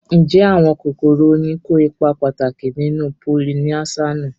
Ǹjẹ́ àwọn kòkòrò oyin kó ipa pàtàkì nínú polinésáànù?